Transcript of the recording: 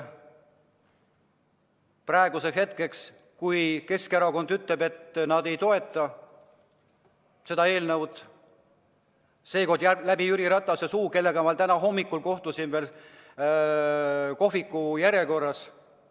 Praegusel hetkel Keskerakond ütleb, et nad ei toeta seda eelnõu, seekord läbi Jüri Ratase suu, kellega ma täna hommikul kohtusin kohviku järjekorras.